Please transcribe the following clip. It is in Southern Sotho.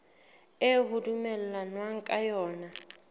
eo ho dumellanweng ka yona